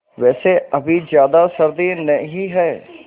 वैसे अभी ज़्यादा सर्दी नहीं है